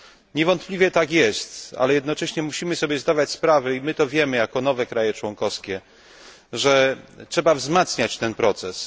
Niewątpliwie tak jest, ale jednocześnie musimy sobie zdawać sprawę, i my to wiemy jako nowe kraje członkowskie, że trzeba wzmacniać ten proces.